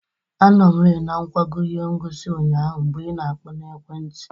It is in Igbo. Anọ m rị na ngwago ihe ngosi ụnyaahụ mgbe ị na-akpọ n'ekwe nti.